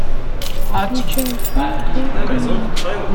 включай фильм трое в каноэ